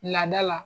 Lada la